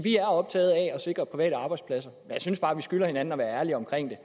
er optaget af at sikre private arbejdspladser jeg synes bare vi skylder hinanden at være ærlige omkring